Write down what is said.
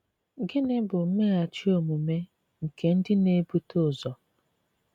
Gịnị bụ mmeghachi omume nke ndị na-ebute ụzọ?